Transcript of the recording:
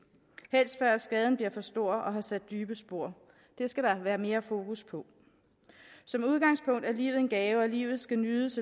helst før skaden bliver for stor og har sat dybe spor det skal der være mere fokus på som udgangspunkt er livet en gave og livet skal nydes